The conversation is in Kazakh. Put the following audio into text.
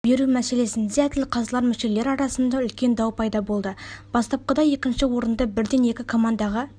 беру мәселесінде әділқазылар мүшелері арасында үлкен дау пайда болды бастапқыда екінші орынды бірден екі командаға